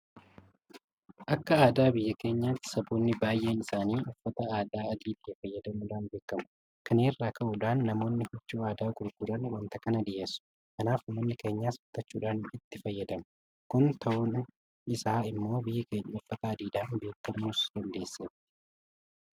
Akka aadaa biyya keenyaatti saboonni baay'een isaanii uffata aadaa adii ta'e fayyadamuudhaan beekamu. Kana irraa ka'uudhaan namoonni huccuu aadaa gurguran waanta kana dhiyeessu. Kanaaf uummanni keenyas bitachuudhaan itti fayyadamu. Kun ta'uun isaa immoo biyyi keenya uffata adiidhaan beekamuus dandeesseetti.